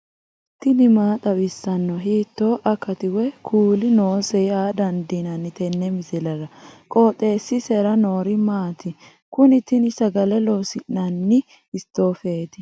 tini maa xawissanno ? hiitto akati woy kuuli noose yaa dandiinanni tenne misilera? qooxeessisera noori maati? kuni tini sagale loosi'nanni istoofeeti